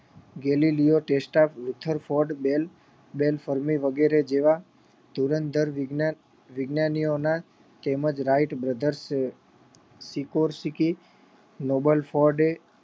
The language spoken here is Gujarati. ગેલીલિયો દેસ્તા Rutherford Bell Bell Fermi વગેરે જેવા ધુરંધર વિજ્ઞાન વિજ્ઞાનીઓ ના તેમજ રાઈટ બ્રધર્સ નોબલ ફોર્ડે